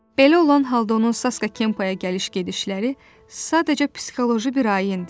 Belə olan halda onun Saska Kempəyə gəliş-gedişləri sadəcə psixoloji bir ayindir.